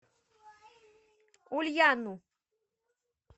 ульяну